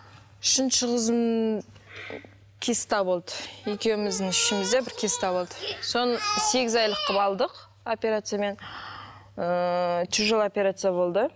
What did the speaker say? үшінші қызым киста болды екеуіміздің ішімізде бір киста болды соны сегіз айлық қылып алдық операциямен ыыы тяжелый операция болды